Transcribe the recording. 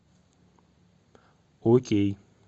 окей